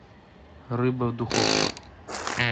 рыба в духовке